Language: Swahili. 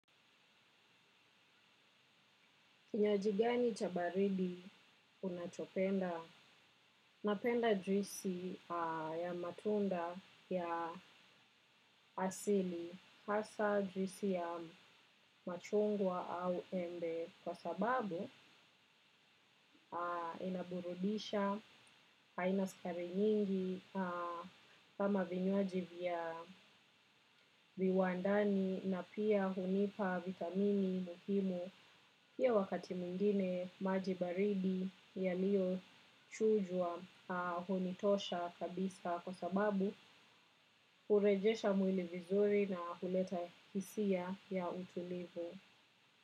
Kinywajigani chabaridi unachopenda, napenda juisi ya matunda ya asili hasa juisi ya machungwa au embe kwa sababu inaburudisha, haina sukari nyingi kama vinywaji vya viwandani na pia hunipa vitamini muhimu ya wakati mwingine majibaridi ya liyo chujwa hunitosha kabisa kwa sababu urejesha mwili vizuri na huleta hisia ya utulivu.